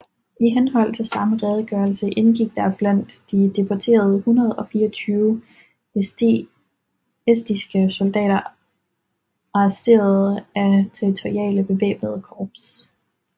I henhold til samme redegørelse indgik der blandt de deporterede 124 estiske soldater arresterede af territoriale bevæbnede korps